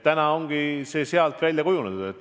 Täna ongi see välja kujunenud.